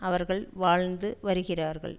அவர்கள் வாழ்ந்து வருகிறார்கள்